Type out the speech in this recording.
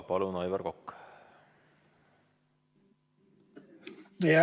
Palun, Aivar Kokk!